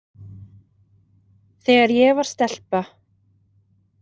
Þegar ég var stelpa.